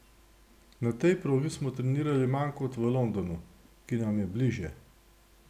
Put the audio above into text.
Na tej progi smo trenirali manj kot v Londonu, ki nam je bližje.